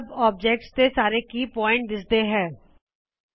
ਸੱਬ ਆਬਜੇਕ੍ਟਸ ਦੇ ਸਾਰੇ ਕੇ ਪੁਆਇੰਟਸ ਮੁੱਖ ਬਿਂਦੁ ਦਿਸਦੇ ਨੇਂ